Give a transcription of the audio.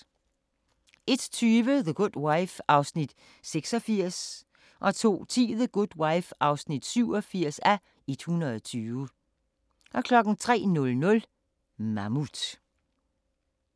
01:20: The Good Wife (86:120) 02:10: The Good Wife (87:120) 03:00: Mammut